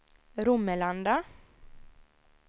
Romelanda